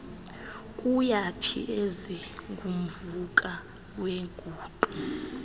kuyaphi ezingumvuka weenguqu